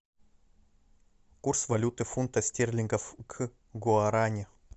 курс валюты фунта стерлингов к гуарани